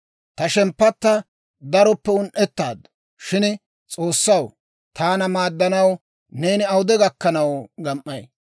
Ta shemppatta daroppe un"ettaaddu; shin S'oossaw, taana maaddanaw neeni awude gakkanaw gam"ay?